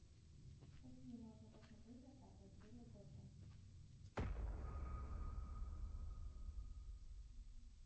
какие можно посмотреть двадцатая серия готэм